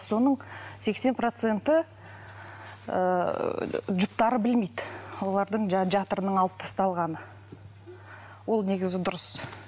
соның сексен проценті ііі жұптары білмейді олардың жаңағы жатырының алып тасталғаны ол негізі дұрыс